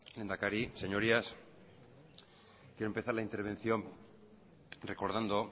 lehendakari señorías quiero empezar la intervención recordando